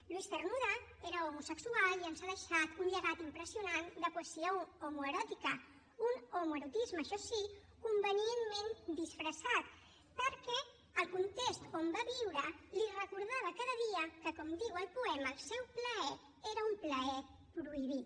luis cernuda era homosexual i ens ha deixat un llegat impressionant de poesia homoeròtica un homoerotisme això sí convenientment disfressat perquè el context on va viure li recordava cada dia que com diu el poema el seu plaer era un plaer prohibit